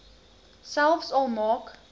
selfs al maak